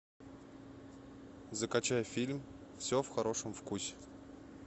закачай фильм все в хорошем вкусе